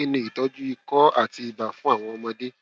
kí ni ìtọjú ikọ àti ibà fún àwọn ọmọdé